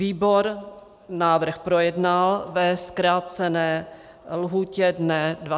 Výbor návrh projednal ve zkrácené lhůtě dne 29. března.